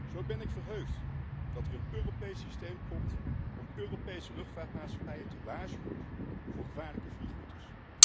Zo ben ik verheugd dat er een Europees systeem komt om Europese luchtvaartmaatschappijen te waarschuwen voor gevaarlijke vliegroutes.